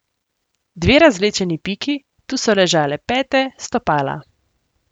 Dve razvlečeni piki, tu so ležale pete, stopala.